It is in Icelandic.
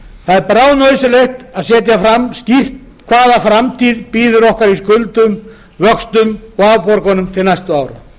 þjóðfélagsins það er bráðnauðsynlegt að setja skýrt fram hvaða framtíð bíður okkar í skuldum vöxtum og afborgunum til næstu ára